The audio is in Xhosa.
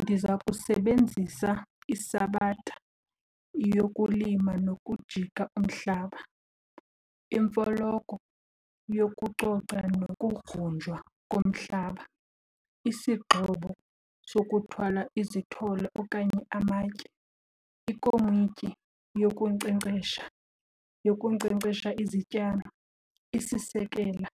Ndiza kusebenzisa isabatha yokulima nokujika umhlaba, imfoloko yokucoca nokugrunjwa komhlaba, isingxobo sokuthwala izithole okanye amatye, ikomityi yokunkcenkcesha, yokunkcenkcesha izityalo, isisekela